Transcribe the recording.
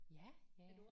Ja ja